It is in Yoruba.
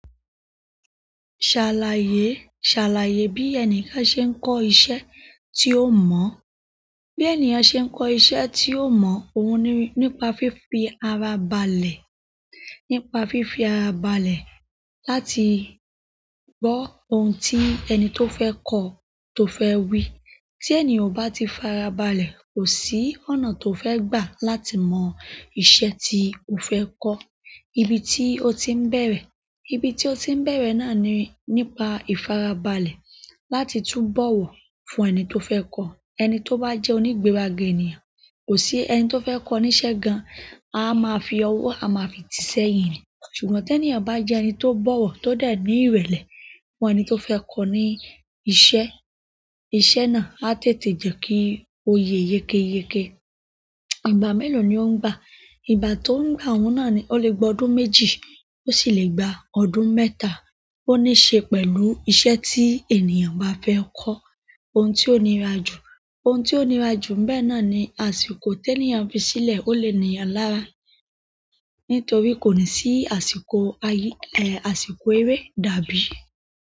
Ṣàlàyé, ṣàlàyé bí ẹnìkan ṣe ń kọ́ iṣẹ́ tí ó mọ̀. Bí ènìyàn ṣe ń kọ́ iṣẹ́ tí ó mọ̀, òun ní, nípa fífi ara balẹ̀, nípa fífi ara balẹ̀ láti gbọ́ ohun tí ẹni tó fẹ́ kọ́ tó fẹ́ wí. Tí ènìyàn ò bá ti farabalẹ̀, kò sí ọ̀nà tó fẹ́ gbà láti mọ iṣẹ́ tí ó fẹ́ kọ́. Ibi tí ó ti ń bẹ̀rẹ̀, ibi tí ó ti ń bẹ̀rẹ̀ náà ni nípa ìfarabalẹ̀ láti túbọ̀wọ̀ fún ẹni tó fẹ́ kọ́. Ẹni to ba je onigberaga ènìyàn ko si ẹni ti o fe ko ni iṣẹ́ gan. A máa fi ọwọ́, a máa fi ì tí sẹ́yìn. Ṣùgbọ́n tí ènìyàn bá jẹ ẹni tó bọ̀wọ̀, tó de ní ìrẹ̀lẹ̀ fún ẹni tó fẹ́ kọ́ ní iṣẹ́, iṣẹ́ náà á tètè jẹ́ kí ó yẹ yékéyéké. Ìgbà mélòó ni ó ń gbà? Ìgbà tó ń gbà òun náà ni ó lè gba ọdún méjì, ó sì lè gba ọdún mẹ́ta. Ó níí ṣe pẹ̀lú iṣẹ́ tí ènìyàn bá fẹ́ kọ́. Ohun tí ó nira jù, ohun tí ó nira jù bẹ́ẹ̀ náà ni àsìkò tí ènìyàn fi sílẹ̀. Ó lè ní ì eyàn lára, nítorí kò ní sí àsìkò, àyí, àsìkò eré dàbí.